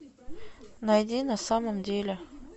найди на самом деле